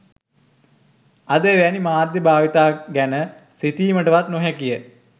අද එවැනි මාධ්‍ය භාවිතයක් ගැන සිතීමටවත් නොහැකි ය